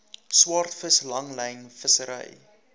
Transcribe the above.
swaardvis langlyn vissery